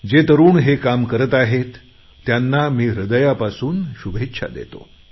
जे तरुण हे काम करत आहेत त्यांना मी हृदयापासून शुभेच्छा देतो